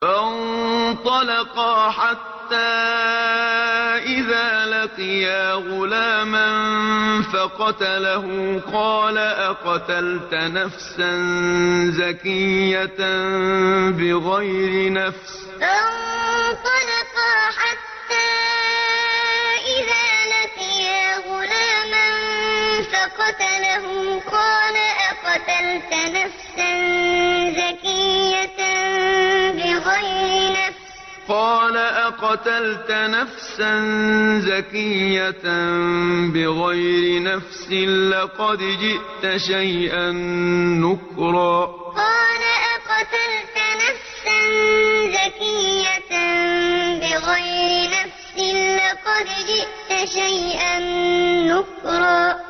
فَانطَلَقَا حَتَّىٰ إِذَا لَقِيَا غُلَامًا فَقَتَلَهُ قَالَ أَقَتَلْتَ نَفْسًا زَكِيَّةً بِغَيْرِ نَفْسٍ لَّقَدْ جِئْتَ شَيْئًا نُّكْرًا فَانطَلَقَا حَتَّىٰ إِذَا لَقِيَا غُلَامًا فَقَتَلَهُ قَالَ أَقَتَلْتَ نَفْسًا زَكِيَّةً بِغَيْرِ نَفْسٍ لَّقَدْ جِئْتَ شَيْئًا نُّكْرًا